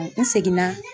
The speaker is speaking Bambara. N segin na